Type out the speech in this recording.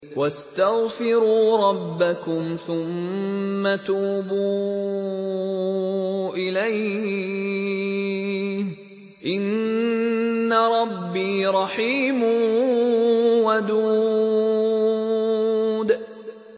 وَاسْتَغْفِرُوا رَبَّكُمْ ثُمَّ تُوبُوا إِلَيْهِ ۚ إِنَّ رَبِّي رَحِيمٌ وَدُودٌ